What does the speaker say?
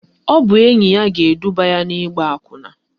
Ọ bụ enyi ya ga-eduba ya n'ịgba akwụna